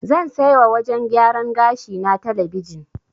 Zan sai wa wajen gyaran gashi na talabijin.